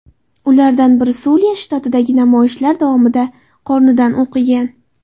Ulardan biri Suliya shtatidagi namoyishlar davomida qornidan o‘q yegan.